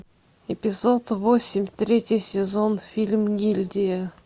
эпизод восемь третий сезон фильм гильдия